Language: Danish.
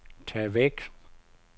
tag væk